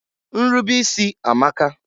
Nrube isi amaka.